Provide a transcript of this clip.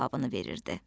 cavabını verirdi.